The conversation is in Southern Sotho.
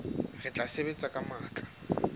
re tla sebetsa ka matla